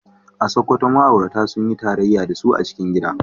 A Sakkwato ma’aurata sun yi tarayya da su a cikin gida.